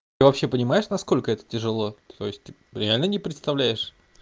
ты вообще понимаешь насколько это тяжело то есть реально не представляешь